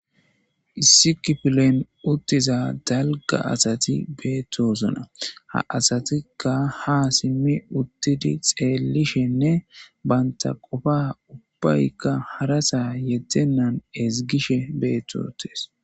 Issi kiplen uttiza dalga asati betosona Asatika ha simidi Uttidi xellishe Banta qofa ubayka haraza Yedenan Hisgishe beti uttes